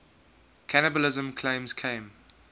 cannibalism claims came